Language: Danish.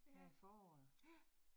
Ja, ja